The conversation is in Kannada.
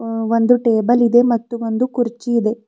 ಅ ಒಂದು ಟೇಬಲ್ ಇದೆ ಮತ್ತು ಒಂದು ಕುರ್ಚಿ ಇದೆ.